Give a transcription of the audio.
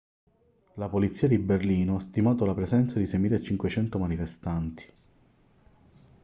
la polizia di berlino ha stimato la presenza di 6.500 manifestanti